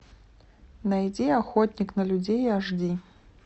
найди охотник на людей аш ди